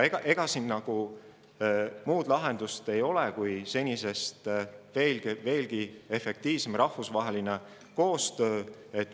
Ega siin muud lahendust ei ole kui senisest veelgi efektiivsem rahvusvaheline koostöö.